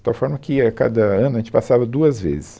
De tal forma que a cada ano a gente passava duas vezes.